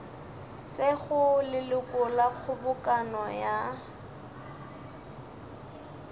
sego leloko la kgobokano ya